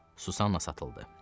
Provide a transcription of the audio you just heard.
Susanna satıldı.